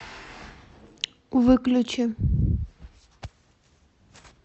выключи